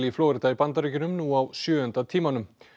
í Flórída í Bandaríkjunum nú á sjöunda tímanum